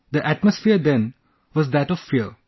The atmosphere then was that of fear